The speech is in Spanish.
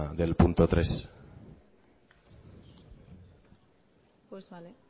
del punto tres pues vale